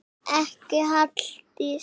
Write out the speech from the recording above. Ekki Halldís